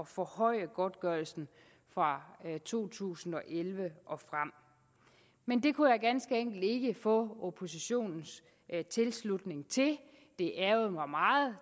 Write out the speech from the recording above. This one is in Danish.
forhøje godtgørelsen fra to tusind og elleve og frem men det kunne jeg ganske enkelt ikke få oppositionens tilslutning til det ærgrede mig meget